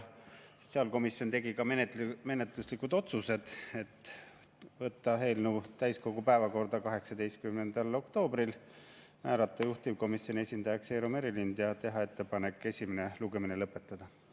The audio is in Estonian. Sotsiaalkomisjon tegi ka menetluslikud otsused: võtta eelnõu täiskogu päevakorda 18. oktoobril, määrata juhtivkomisjoni esindajaks Eero Merilind ja teha ettepanek esimene lugemine lõpetada.